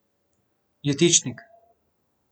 Jetičnik.